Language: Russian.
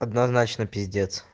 однозначно пиздец